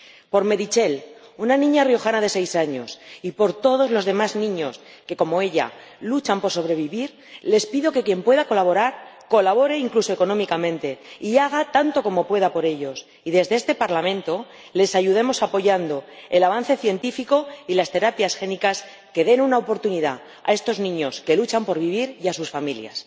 Por Meritxell, una niña riojana de seis años, y por todos los demás niños que como ella luchan por sobrevivir, les pido que quien pueda colaborar colabore, incluso económicamente, y haga tanto como pueda por ellos, y que desde este Parlamento les ayudemos apoyando el avance científico y las terapias génicas que den una oportunidad a estos niños que luchan por vivir y a sus familias.